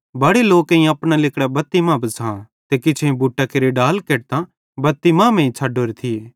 बड़े लोकेईं अपना लिगड़ां बत्ती मां बिछ़ां ते किछेईं बुट्टा केरे डाल केटतां बत्ती मांमेइं छ़डोरे थिये